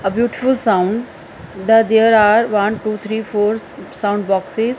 a beautiful sound the there are one two three four s sound boxes.